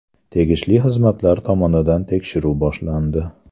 Tegishli xizmatlar tomonidan tekshiruv boshlandi.